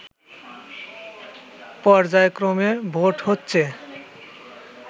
পর্যায়ক্রমে ভোট হচ্ছে